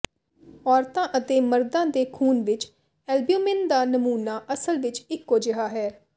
ਔਰਤਾਂ ਅਤੇ ਮਰਦਾਂ ਦੇ ਖੂਨ ਵਿਚ ਐਲਬਿਊਮਿਨ ਦਾ ਨਮੂਨਾ ਅਸਲ ਵਿਚ ਇਕੋ ਜਿਹਾ ਹੈ